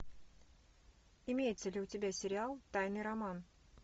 имеется ли у тебя сериал тайный роман